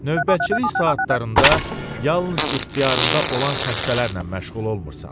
Növbəçilik saatlarında yalnız ixtiyarında olan xəstələrlə məşğul olmursan.